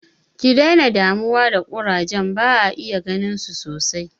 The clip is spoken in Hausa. Ki dena damuwa da ƙurajen, ba'a iya ganinsu sosai.